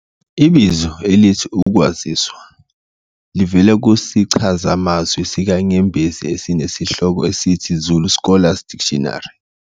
Ibizo elithi 'ukwaziswa' livela kusichazamazwi sikaNyembezi esinesihloko esithi 'Zulu Scholars Dictionary'